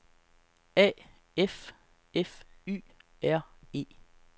A F F Y R E